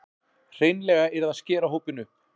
Hreinlega yrði að skera hópinn upp